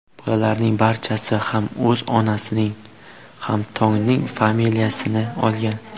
Bolalarning barchasi ham o‘z onasining ham Tongning familiyasini olgan.